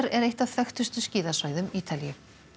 er eitt af þekktustu skíðasvæðum Ítalíu